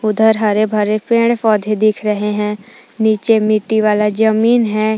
उधर हरे भरे पेड़ पौधे दिख रहे हैं नीचे मिट्टी वाला जमीन है।